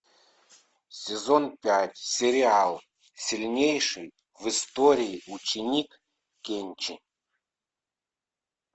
сезон пять сериал сильнейший в истории ученик кеничи